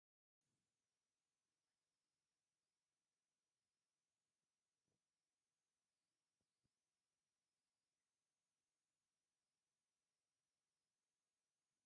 ኣብ ፃዕዳ ስኒ ትኩስ ቡን ኣሎ ። እቲ ኣብቲ ትሕቲ እቲ ሲኒ ድማ ሰለስተ ዝተቀለዋ ቡን ኣለዋ ። ቡን ንጥዕናካ ፅቡቅ ዶ ?